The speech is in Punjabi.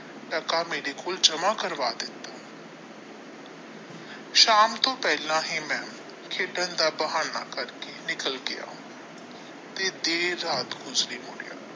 ਮੇਰੇ ਕੋਲ ਜਮ੍ਹਾ ਕਰਵਾ ਸ਼ਾਮ ਤੋਂ ਪਹਿਲਾ ਹੀ ਮੈ ਖੇਡਣ ਦਾ ਬਹਾਨਾ ਕਰ ਕੇ ਨਿੱਕਲ ਗਿਆ ਤੇ ਦੇਰ ਰਾਤ ਨਹੀਂ ਮੁੜਿਆ।